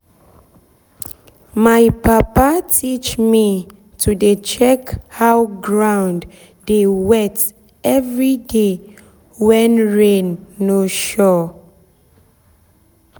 my papa teach me to dey check how ground dey wet every day when rain no sure.